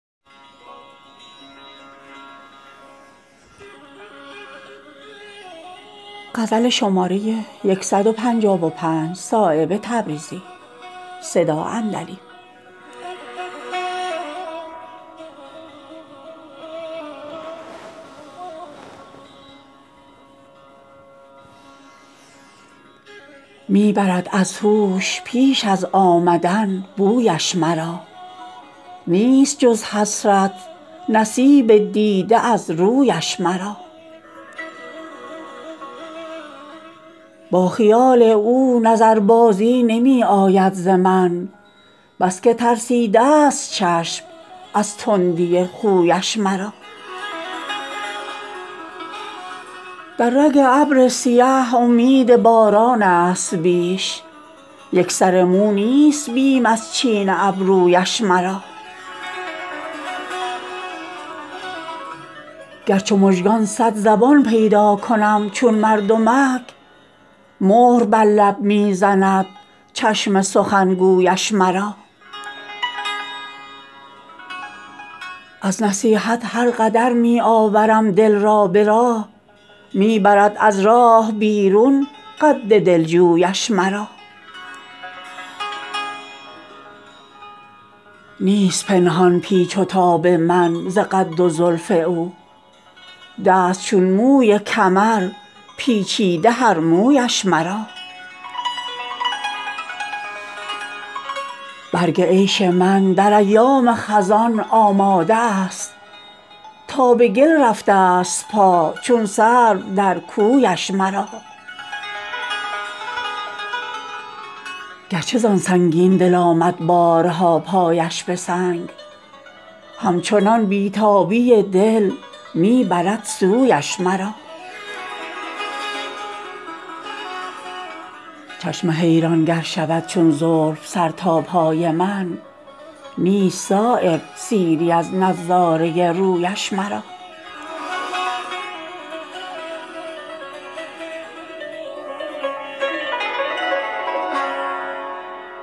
می برد از هوش پیش از آمدن بویش مرا نیست جز حسرت نصیب دیده از رویش مرا با خیال او نظر بازی نمی آید ز من بس که ترسیده است چشم از تندی خویش مرا در رگ ابر سیه امید باران است بیش یک سر مو نیست بیم از چین ابرویش مرا گر چو مژگان صد زبان پیدا کنم چون مردمک مهر بر لب می زند چشم سخنگویش مرا از نصیحت هر قدر می آورم دل را به راه می برد از راه بیرون قد دلجویش مرا نیست پنهان پیچ و تاب من ز قد و زلف او دست چون موی کمر پیچیده هر مویش مرا برگ عیش من در ایام خزان آماده است تا به گل رفته است پا چون سرو در کویش مرا گرچه زان سنگین دل آمد بارها پایش به سنگ همچنان بی تابی دل می برد سویش مرا چشم حیران گر شود چون زلف سر تا پای من نیست صایب سیری از نظاره رویش مرا